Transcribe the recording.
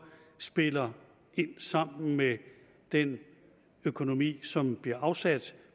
spiller ind sammen med den økonomi som bliver afsat